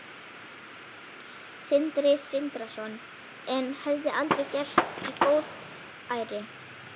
Sindri Sindrason: En hefði aldrei gerst í góðæri?